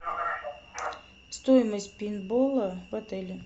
стоимость пейнтбола в отеле